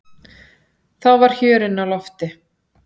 Þá var hjörinn á lofti.